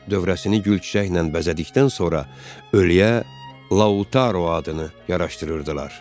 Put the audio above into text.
Dövrəsini gülçiçəklə bəzədikdən sonra ölüyə Lautaro adını yaraşdırırdılar.